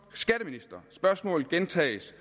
spørgsmålet gentages